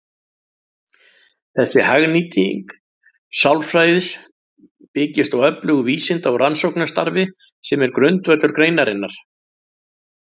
Þessi hagnýting sálfræði byggist á öflugu vísinda- og rannsóknarstarfi sem er grundvöllur greinarinnar.